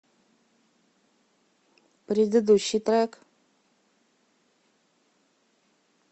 предыдущий трек